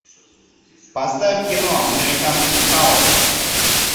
поставь кино американский хаос